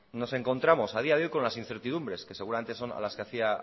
nos encontramos a día de hoy con las incertidumbres que seguramente son a las que hacía